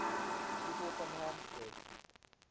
people from hampstead